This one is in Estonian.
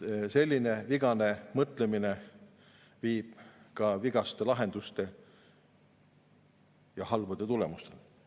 Selline vigane mõtlemine viib ka vigaste lahenduste ja halbade tulemusteni.